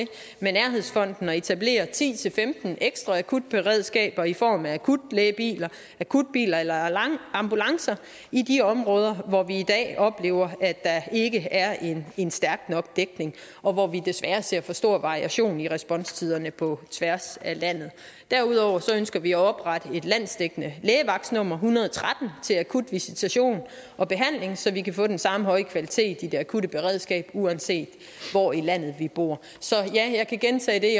med nærhedsfonden at etablere ti til femten ekstra akutberedskaber i form af akutlægebiler akutbiler eller ambulancer i de områder hvor vi i dag oplever at der ikke er en en stærk nok dækning og hvor vi desværre ser for stor variation i responstiderne på tværs af landet derudover ønsker vi at oprette et landsdækkende lægevagtsnummer en hundrede og tretten til akut visitation og behandling så vi kan få den samme høje kvalitet i det akutte beredskab uanset hvor i landet man bor så ja jeg kan gentage det